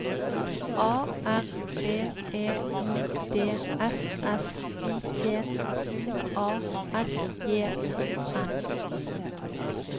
A R B E I D S S I T U A S J O N